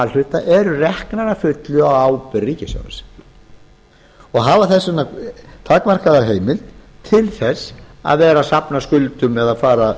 hluta eru reknar að fullu á ábyrgð ríkissjóðs og hafa þess vegna takmarkaða heimild til þess að vera